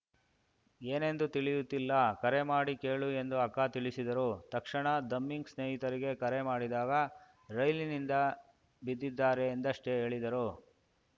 ಏನೆಂದು ತಿಳಿಯುತ್ತಿಲ್ಲ ಕರೆ ಮಾಡಿ ಕೇಳು ಎಂದು ಅಕ್ಕ ತಿಳಿಸಿದರು ತಕ್ಷಣ ದುಮ್ಮಿಂಗ್‌ ಸ್ನೇಹಿತರಿಗೆ ಕರೆ ಮಾಡಿದಾಗ ರೈಲಿನಿಂದ ಬಿದ್ದಿದ್ದಾರೆ ಎಂದಷ್ಟೆಹೇಳಿದರು